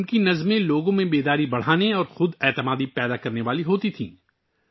اس کی نظمیں لوگوں میں شعور بیدار کرتی تھیں اور خود اعتمادی پیدا کرنے والی ہوتی تھیں